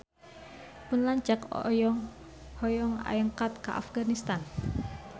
Pun lanceuk hoyong angkat ka Afganistan